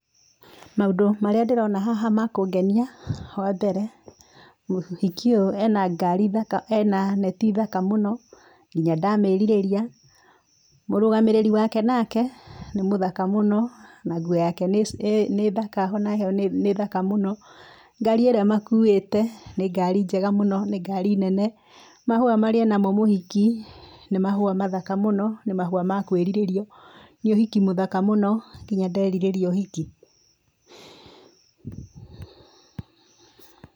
Maũndũ marĩa ndĩrona haha makũngenia, wa mbere, mũhiki ũyũ ena ngari thaka, ena neti thaka mũno, nginya ndamĩrirĩria, mũrũgamĩrĩri wake nake, nĩmũthaka mũno, na nguo yake nĩ nĩ thaka onayo nĩ, thaka mũno, ngari ĩrĩa ĩmakuĩte nĩ ngari njega mũno, nĩ ngari nene. Mahũa marĩa enamo mũhiki, nĩ mahũa mathaka mũno, nĩ mahua ma kwiririo, Nĩ ũhiki mũthaka mũno nginya nderirĩria ũhiki.